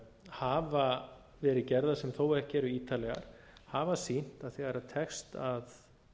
hafa verið gerðar sem þó ekki eru ítarlegar hafa sýnt að þegar tekst að